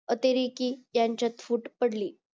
अतरेकी यांच्यात फूट पडली